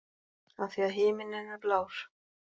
Af því að himinninn er blár.